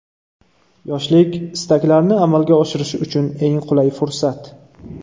Yoshlik istaklarni amalga oshirish uchun eng qulay fursat.